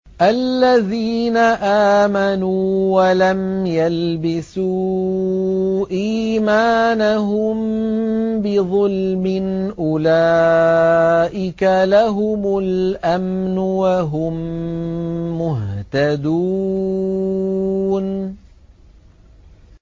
الَّذِينَ آمَنُوا وَلَمْ يَلْبِسُوا إِيمَانَهُم بِظُلْمٍ أُولَٰئِكَ لَهُمُ الْأَمْنُ وَهُم مُّهْتَدُونَ